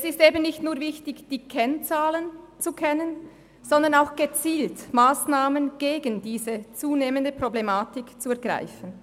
Es ist nicht nur wichtig, die Kennzahlen zu kennen, sondern auch gezielt Massnahmen gegen diese zunehmende Problematik zu ergreifen.